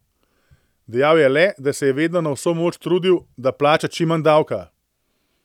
Dejal je le, da se je vedno na vso moč trudil, da plača čim manj davka.